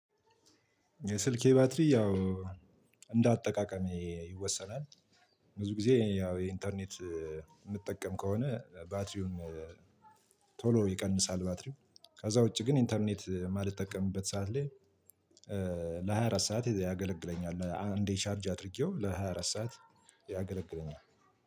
የስልኬ ባትሪ ያው እንደ አጠቃቀሜ ይወሰናል። ብዙ ጊዜ ያው የኢንተርኔት የምጠቀም ከሆነ ባትሪውን ቶሎ ይቀንሳል። ባትሪው ከዛ ውጪ ግን ኢንተርኔት የማልጠቀምበት ሰዓት ላይ። ለሃያ አራት ሰዓት ያገለግለኛል አንዴ ቻርጅ አድርጌው ለሃያ አራት ሰዓት ያገለግለኛል።